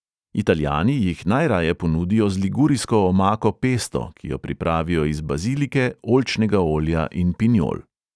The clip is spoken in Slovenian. Italijani jih najraje ponudijo z ligurijsko omako pesto, ki jo pripravijo iz bazilike, oljčnega olja in pinjol.